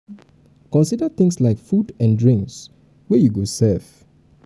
consider things like food and drinks wey you go serve